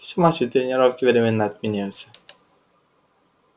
все матчи и тренировки временно отменяются